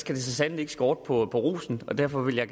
skal det så sandelig ikke skorte på rosen og derfor vil jeg